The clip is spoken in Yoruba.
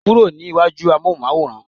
kúrò ní iwaju amohunmaworan